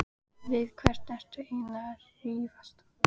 Við hvern ertu eiginlega að rífast?